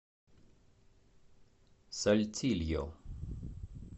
сальтильо